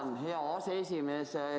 Tänan, hea aseesimees!